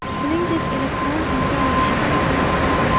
Shuningdek elektron imzo olish ham kerak bo‘lmaydi.